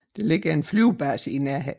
Der ligger en flybase i nærheden